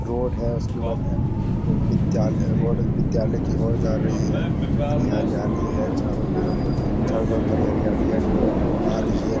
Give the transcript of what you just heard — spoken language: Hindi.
रोड है उसके बाद ए उम्म विद्यालय रोड विद्यालय की ओर जा रही है हरी हरियाली है चारों तरफ हरी हरियाली है चारो तरफ एक ऑटो आ रही है।